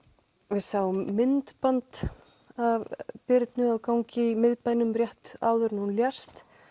við sáum myndband af Birnu á gangi í miðbænum rétt áður en hún lést